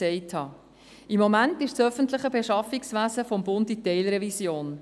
Im Moment ist das öffentliche Beschaffungswesen des Bundes in Teilrevision.